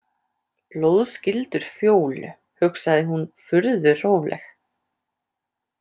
Blóðskyldur Fjólu, hugsaði hún, furðu róleg.